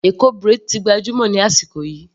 Eko braid ti gbajúmọ̀ ní ọjọ́ wọ̀nyí.